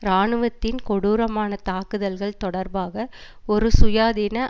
இராணுவத்தின் கொடூரமான தாக்குதல்கள் தொடர்பாக ஒரு சுயாதீன